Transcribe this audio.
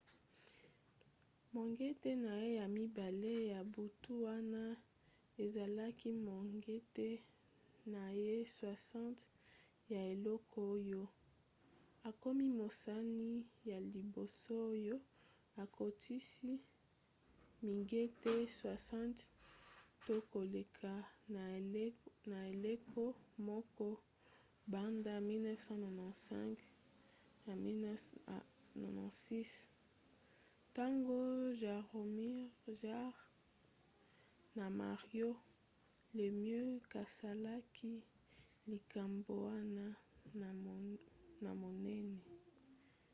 mongete na ye ya mibale ya butu wana ezalaki mongete na ye 60 ya eleko oyo akomi mosani ya liboso oyo akotisi mingete 60 to koleka na eleko moko banda 1995-96 ntango jaromir jagr na mario lemieux basalaki likambo wana ya monene